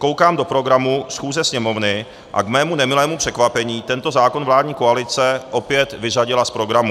Koukám do programu schůze Sněmovny a k mému nemilému překvapení tento zákon vládní koalice opět vyřadila z programu.